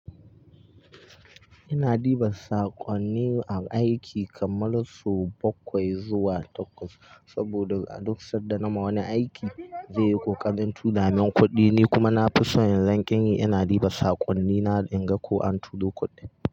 Ina ɗiba saƙonni aiki kammal su bakwai zuwa takwas, saboda a duk sanda nama wani aiki zai yi ƙoƙarin turamin kuɗi. Ni kuma na fi so yanzu in ƙanyi ina ɗiba saƙonnina in ga ko an turo kuɗin.